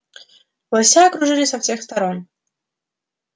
лося окружили со всех сторон